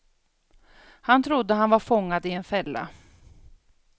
Han trodde att han var fångad i en fälla.